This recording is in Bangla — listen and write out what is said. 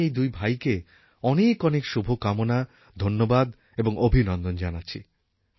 আমি এই দুই ভাইকে অনেক অনেক শুভকামনা ধন্যবাদ এবং অভিনন্দন জানাচ্ছি